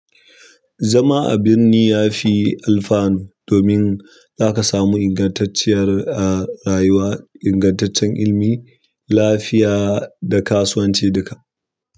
Zama a birni yafi alfanu domin zaka samu ingantacciyar rayuwa, ingantaccen ilimi, lafiya da kasuwanci duka.